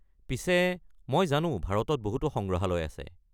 পিছে, মই জানো ভাৰতত বহুতো সংগ্ৰহালয় আছে।